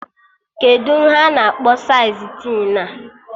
Kedụ ihe a na-akpọ saịz tin a?